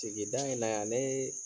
Sigida in na yan alee